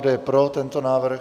Kdo je pro tento návrh?